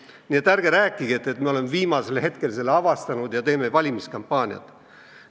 Nii et ärge rääkige, et me oleme viimase hetkel selle teema avastanud ja teeme valimiskampaaniat.